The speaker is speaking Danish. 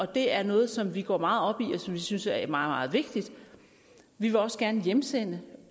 det er noget som vi går meget op i og som vi synes er meget meget vigtigt vi vil også gerne hjemsende